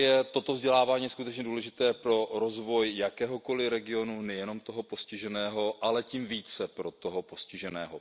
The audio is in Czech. Toto vzdělávání je skutečně důležité pro rozvoj jakéhokoli regionu, nejenom toho postiženého, ale tím více toho postiženého.